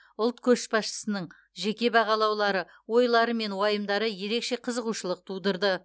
ұлт көшбасшысының жеке бағалаулары ойлары мен уайымдары ерекше қызығушылық тудырды